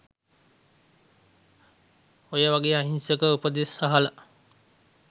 ඔය වගේ අහිංසක උපදෙස් අහල